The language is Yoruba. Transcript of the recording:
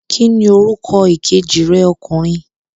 Ki ni orúkọ ìkejì rẹ ọkùnrin?